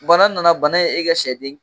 bana nana, bana ye e ka sɛ den